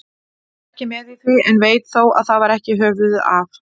Ég var ekki með í því, en veit þó að það var ekki höfuðið af